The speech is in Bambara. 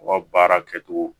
U ka baara kɛcogo